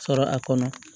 Sɔrɔ a kɔnɔ